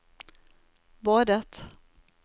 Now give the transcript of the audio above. badet